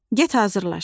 Get hazırlaş.